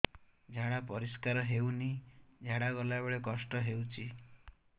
ଝାଡା ପରିସ୍କାର ହେଉନି ଝାଡ଼ା ଗଲା ବେଳେ କଷ୍ଟ ହେଉଚି